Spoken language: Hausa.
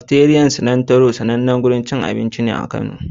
Kafiteriyar Silantiro daya ne daga cikin sannannun wajen abinci a Kano.